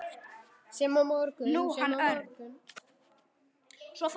Sem á morgun.